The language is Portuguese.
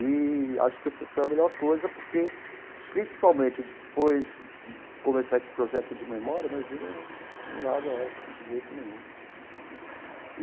E acho que foi a melhor coisa, porque, principalmente depois de começar esse projeto de memória, imagina, eu não eu não largo a UESP de jeito nenhum.